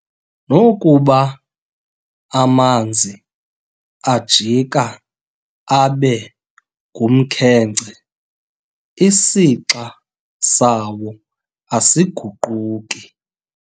Nokuba amanzi ajika abe ngumkhenkce, isixa sawo asiguquki.